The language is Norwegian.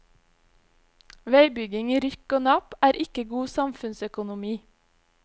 Veibyggingen i rykk og napp er ikke god samfunnsøkonomi.